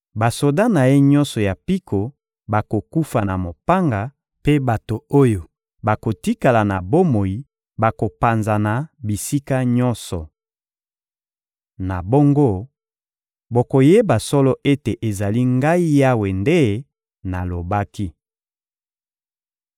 Basoda na ye nyonso ya mpiko bakokufa na mopanga mpe bato oyo bakotikala na bomoi bakopanzana bisika nyonso. Na bongo, bokoyeba solo ete ezali Ngai Yawe nde nalobaki.